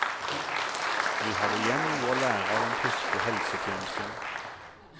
Vi har igjen noe å lære av den tyske helsetjenesten.